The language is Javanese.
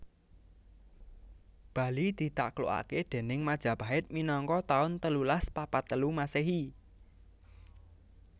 Bali ditaklukake déning Majapahit minangka taun telulas papat telu Masehi